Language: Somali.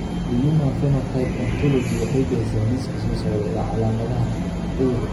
The Human Phenotype Ontology waxay bixisaa liiska soo socda ee calaamadaha iyo calaamadaha cudurka Oculoectodermal syndrome.